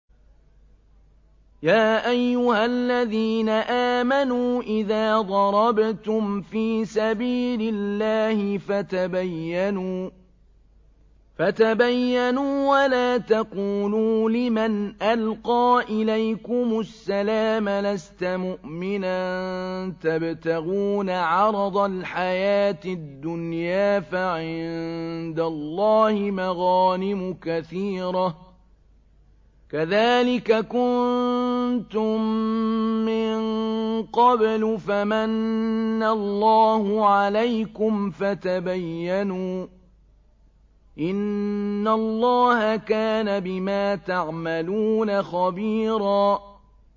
يَا أَيُّهَا الَّذِينَ آمَنُوا إِذَا ضَرَبْتُمْ فِي سَبِيلِ اللَّهِ فَتَبَيَّنُوا وَلَا تَقُولُوا لِمَنْ أَلْقَىٰ إِلَيْكُمُ السَّلَامَ لَسْتَ مُؤْمِنًا تَبْتَغُونَ عَرَضَ الْحَيَاةِ الدُّنْيَا فَعِندَ اللَّهِ مَغَانِمُ كَثِيرَةٌ ۚ كَذَٰلِكَ كُنتُم مِّن قَبْلُ فَمَنَّ اللَّهُ عَلَيْكُمْ فَتَبَيَّنُوا ۚ إِنَّ اللَّهَ كَانَ بِمَا تَعْمَلُونَ خَبِيرًا